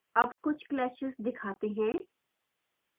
अब कुछ clashes दिखाते हैं